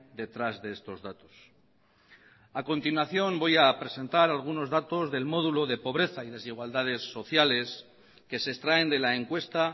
detrás de estos datos a continuación voy a presentar algunos datos del módulo de pobreza y desigualdades sociales que se extraen de la encuesta